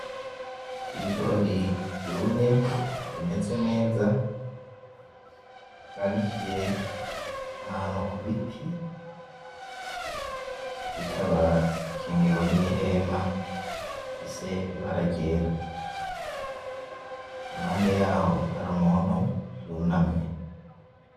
Ibigori vyumye bimeze neza vyanikiye ahantu kubiti, bikaba bikingiwe nihema rifise ibara ryera iruhande yaho hari umuntu yunamye.